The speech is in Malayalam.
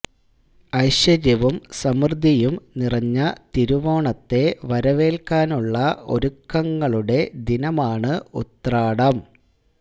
ഐശ്വര്യവും സമൃദ്ധിയും നിറഞ്ഞ തിരുവോണത്തെ വരവേല്ക്കാനുള്ള ഒരുക്കങ്ങളുടെ ദിനമാണ് ഉത്രാടം